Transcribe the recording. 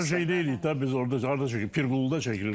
Dədə Qorqudda şey deyirik də biz orda harda çəkilib? Pirquluda çəkilib.